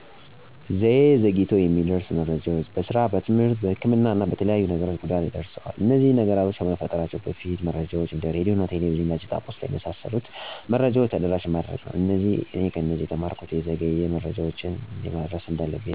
ዘዬ ዘግይቶ የሚደርሱ መረጃዎች በስራ፣ በትምህርት፣ በህክምና እና በተለያዩ ነገሮች ጉዳት ደርሰዋል። እነዚህ ነገሮች ከመፈጠራቸው በፊት መረጃዎችን እንደ ሬድዮ፣ ቴሌቪዥን፣ ጋዜጣ፣ ፖስታ በመሣሠሉት መረጃዎች ተደራሽ ማድረግ ነው። እኔ ከነዚህ የተማርኩት የዘገዩ መረጃዎች እንዴት ማድረስ እንዳለብኝ ነዉ።